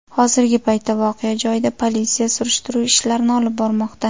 Hozirgi paytda voqea joyida politsiya surishtiruv ishlarini olib bormoqda.